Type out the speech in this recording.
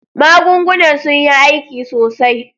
Magungunan sun yi aiki sosai.